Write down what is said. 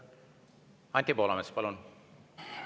Anti Poolamets, palun!